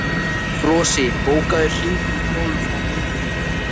Flosi, bókaðu hring í golf á miðvikudaginn.